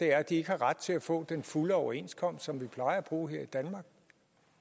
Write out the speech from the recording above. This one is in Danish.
er at de ikke har ret til at få den fulde overenskomst som vi plejer at bruge her i danmark